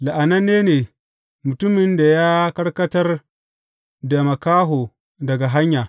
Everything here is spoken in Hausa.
La’ananne ne mutumin da ya karkatar da makaho daga hanya.